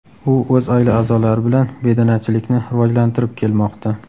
U o‘z oila a’zolari bilan bedanachilikni rivojlantirib kelmoqda.